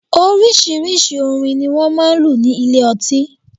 Oríṣiríṣi orin ni wọ́n máa ń lù ní ilé ọtí